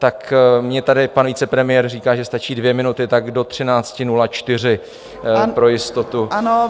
Tak mi tady pan vicepremiér říká, že stačí dvě minuty, tak do 13.04, pro jistotu.